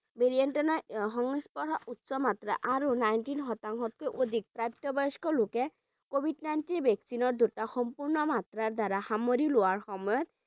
Variant ৰ সংস্পৰ্ষ উচ্চ মাত্ৰা আৰু nineteen শতাংশতকৈ অধিক প্ৰাপ্তবয়স্ক লোকে covid nineteen vaccine ৰ দুটা সম্পূৰ্ণ মাত্ৰা দ্বাৰা সামৰি লোৱাৰ সময়ত